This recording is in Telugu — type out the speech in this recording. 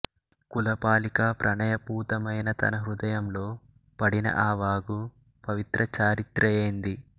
కులపాలికా ప్రణయపూతమైన తన హృదయంలో పడిన ఆ వాగు పవిత్రచారిత్రయైంది